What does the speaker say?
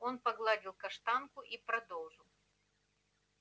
он погладил каштанку и продолжал